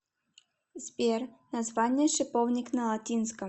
сбер название шиповник на латинском